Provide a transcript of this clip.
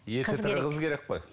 еті тірі қыз керек қой